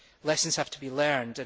Lessons have to be learned